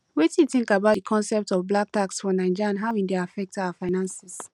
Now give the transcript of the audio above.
wetin you think about di concept of black tax for naija and how e dey affect our finances